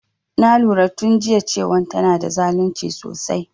Na lura tun jiya cewan tana da zalunci sosai